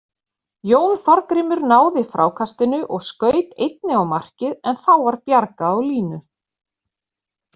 Jón Þorgrímur náði frákastinu og skaut einnig á markið en þá var bjargað á línu.